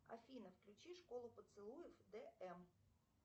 афина включи школу поцелуев дм